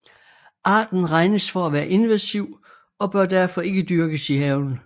Arten regnes for at være invasiv og bør derfor ikke dyrkes i haven